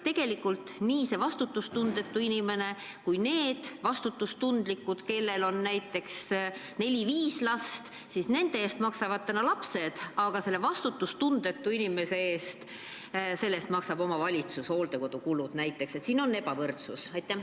Tegelikult on nii, et nende vastutustundlike inimeste eest, kellel on näiteks 4–5 last, maksavad vanaduses nende lapsed, aga vastutustundetu inimese hooldekodukulud maksab omavalitsus.